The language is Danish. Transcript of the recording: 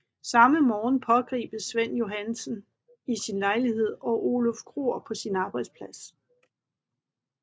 Samme morgen pågribes Svend Johannesen i sin lejlighed og Oluf Kroer på sin arbejdsplads